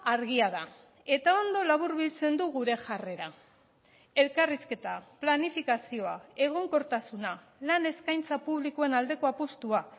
argia da eta ondo laburbiltzen du gure jarrera elkarrizketa planifikazioa egonkortasuna lan eskaintza publikoen aldeko apustua